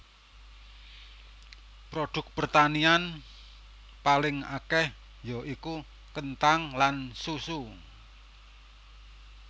Produk pertanian paling akèh ya iku kenthang lan susu